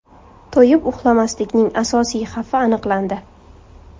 To‘yib uxlamaslikning asosiy xavfi aniqlandi.